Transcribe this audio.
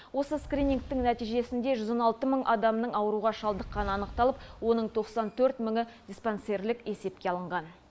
осы скринингтің нәтижесінде жүз он алты мың адамның ауруға шалдыққаны анықталып оның тоқсан төрт мыңы диспансерлік есепке алынған